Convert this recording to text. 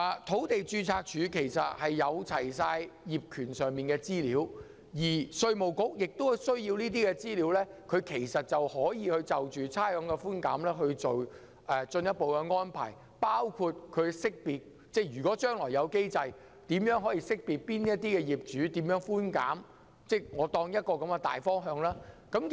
土地註冊處備有所有物業業權資料，稅務局如能取閱這些資料，便可就差餉寬減作進一步的安排，包括設立機制識別哪些業主可以得到甚麼寬減。